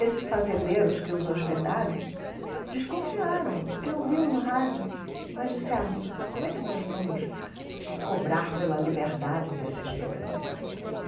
Esses fazendeiros que os hospedaram desconfiaram, porque ouviu no rádio, mas disseram, como é que nós vamos cobrar pela liberdade desses dois e tal?